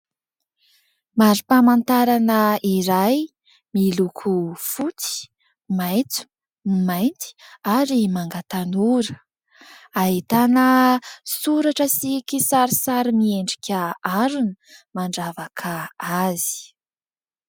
Mari-pamantarana iray miloko fotsy, maintso, ny mainty ary manga tanora. Ahitana soratra sy kisarisary miendrika harona mandravaka azy.